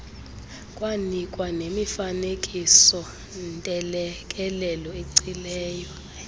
kwanikwa nemifanekisoontelekelelo eeacileyo